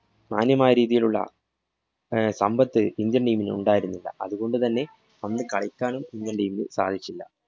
മാന്യമായ രീതിയിലുള്ള അഹ് സമ്പത്ത് indian team ന് ഉണ്ടായിരുന്നില്ല. അതുകൊണ്ടുതന്നെ അന്നു കളിക്കാനും indian team ന് സാധിച്ചില്ല.